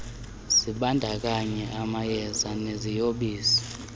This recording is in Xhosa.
zibandakanya amayeza neziyobisi